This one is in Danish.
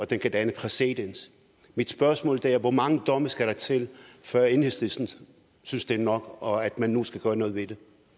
den kan danne præcedens mit spørgsmål er hvor mange domme skal der til før enhedslisten synes det er nok og at man nu skal gøre noget ved